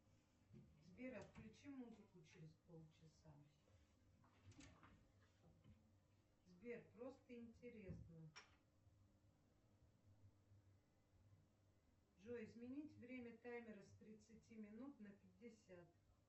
сбер отключи музыку через полчаса сбер просто интересно джой изменить время таймера с тридцати минут на пятьдесят